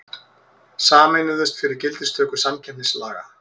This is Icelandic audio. Sameinuðust fyrir gildistöku samkeppnislaga